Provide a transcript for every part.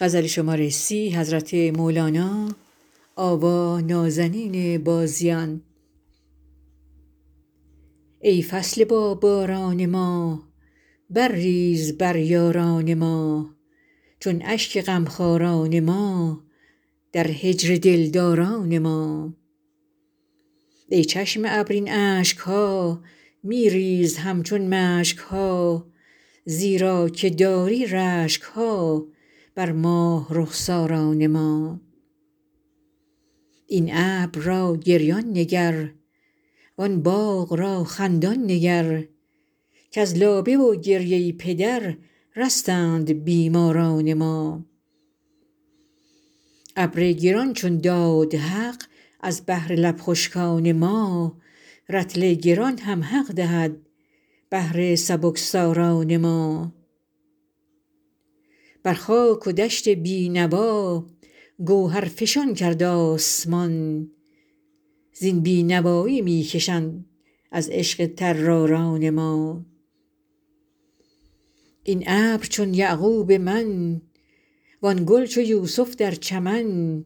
ای فصل باباران ما برریز بر یاران ما چون اشک غمخواران ما در هجر دلداران ما ای چشم ابر این اشک ها می ریز همچون مشک ها زیرا که داری رشک ها بر ماه رخساران ما این ابر را گریان نگر وان باغ را خندان نگر کز لابه و گریه پدر رستند بیماران ما ابر گران چون داد حق از بهر لب خشکان ما رطل گران هم حق دهد بهر سبکساران ما بر خاک و دشت بی نوا گوهرفشان کرد آسمان زین بی نوایی می کشند از عشق طراران ما این ابر چون یعقوب من وان گل چو یوسف در چمن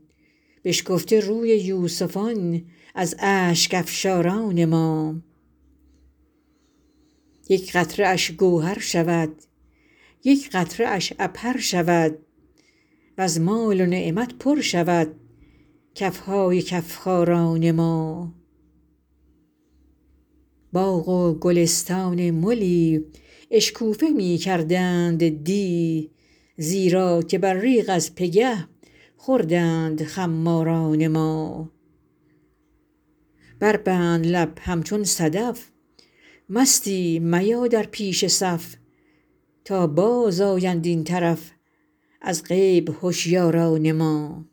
بشکفته روی یوسفان از اشک افشاران ما یک قطره اش گوهر شود یک قطره اش عبهر شود وز مال و نعمت پر شود کف های کف خاران ما باغ و گلستان ملی اشکوفه می کردند دی زیرا که ابریق از پگه خوردند خماران ما بربند لب همچون صدف مستی میا در پیش صف تا بازآیند این طرف از غیب هشیاران ما